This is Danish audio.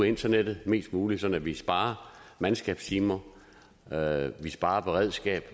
internettet mest muligt sådan at vi sparer mandskabstimer at vi sparer beredskab og